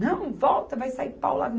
Não, volta, vai sair pau lá.